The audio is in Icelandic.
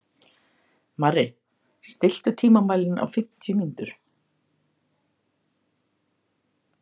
Marri, stilltu tímamælinn á fimmtíu mínútur.